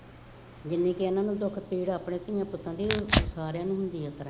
ਜਿੰਨੀ ਕਿ ਇਹਨਾ ਨੂੰ ਦਿੱਤੀ ਰੱਬ ਨੇ ਧੀਆਂ ਪੁੱਤਾਂ ਦੀ ਸਾਰਿਆਂ ਨੂੰ ਹੁੰਦੀ ਇਸ ਤਰ੍ਹਾਂ